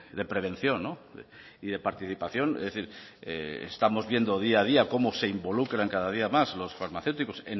de prevención y de participación es decir estamos viendo día a día cómo se involucran cada día más los farmacéuticos